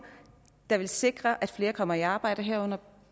der sikrer at flere kommer i arbejde herunder